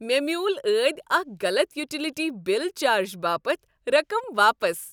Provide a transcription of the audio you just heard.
مےٚ میول ٲدی اکہ غلط یوٹیلیٹی بل چارج باپت رقم واپس۔